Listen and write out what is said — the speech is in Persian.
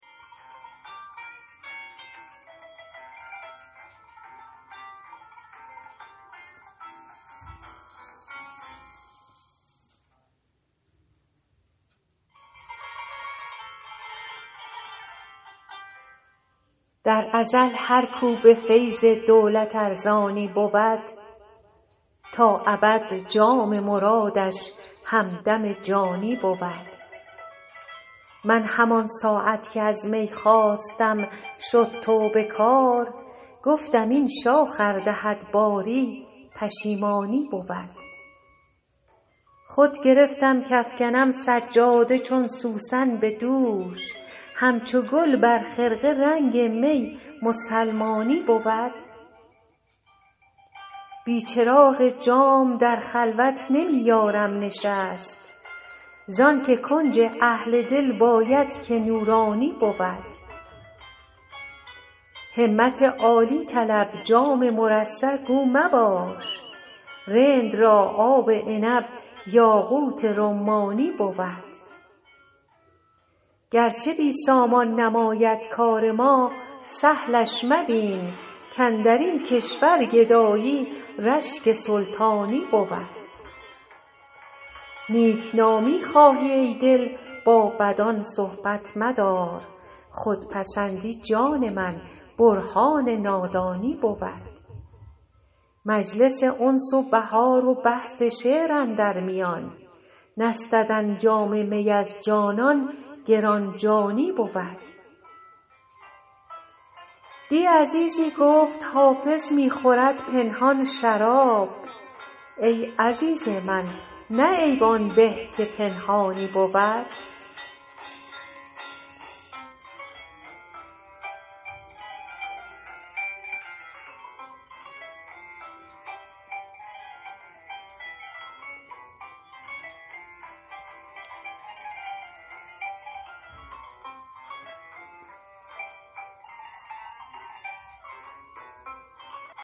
در ازل هر کو به فیض دولت ارزانی بود تا ابد جام مرادش همدم جانی بود من همان ساعت که از می خواستم شد توبه کار گفتم این شاخ ار دهد باری پشیمانی بود خود گرفتم کافکنم سجاده چون سوسن به دوش همچو گل بر خرقه رنگ می مسلمانی بود بی چراغ جام در خلوت نمی یارم نشست زان که کنج اهل دل باید که نورانی بود همت عالی طلب جام مرصع گو مباش رند را آب عنب یاقوت رمانی بود گرچه بی سامان نماید کار ما سهلش مبین کاندر این کشور گدایی رشک سلطانی بود نیک نامی خواهی ای دل با بدان صحبت مدار خودپسندی جان من برهان نادانی بود مجلس انس و بهار و بحث شعر اندر میان نستدن جام می از جانان گران جانی بود دی عزیزی گفت حافظ می خورد پنهان شراب ای عزیز من نه عیب آن به که پنهانی بود